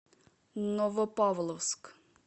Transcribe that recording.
новопавловск